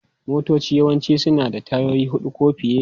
Motoci yawanci suna da tayoyi huɗu ko fiye.